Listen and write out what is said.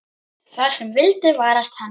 Það sem vildi varast hann.